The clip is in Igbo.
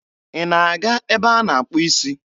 Ị na-aga ebe a na-akpụ isi?